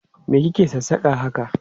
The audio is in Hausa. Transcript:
Me ki ke sassaka haka?